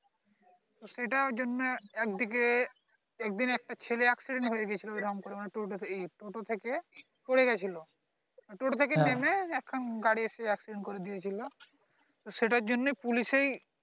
সেটা জন্যে একদিকে একদিন একটা ছেলে accident হয়ে গেছিলো এমন করে টোটো টোটো থেকে পরে গেছিলো টোটো থেকে নেমে এক সাম গাড়ি এসে accident করে দিয়ে দিলো সেটার জন্যে পুলিশেই